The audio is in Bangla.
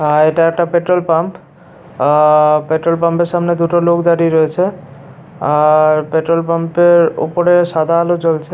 আ এটা একটা পেট্রল পাম্প আ পেট্রল পাম্পের সামনে দুটো লোক দাঁড়িয়ে রয়েছে আর পেট্রল পাম্পের ওপরে সাদা আলো জ্বলছে।